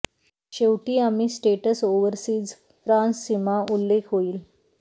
शेवटी आम्ही states overseas France सीमा उल्लेख होईल